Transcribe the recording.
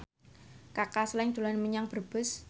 Kaka Slank dolan menyang Brebes